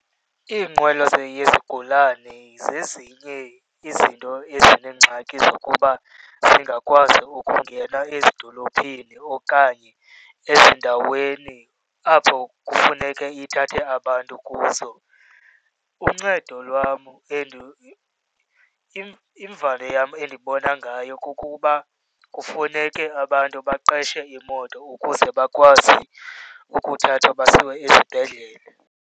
Iinqwelo yezigulane zezinye izinto ezineengxaki zokuba zingakwazi ukungena ezidolophini okanye ezindaweni apho kufuneke ithathe abantu kuzo. Uncedo lwam , imvali yam endibona ngayo kukuba kufuneke abantu baqeshe imoto ukuze bakwazi ukuthathwa basiwe esibhedlele.